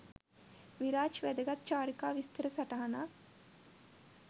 විරාජ් වැදගත් චාරිකා විස්තර සටහනක්.